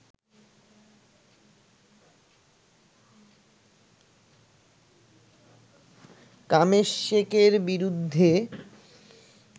কামেদশেখের বিরুদ্ধে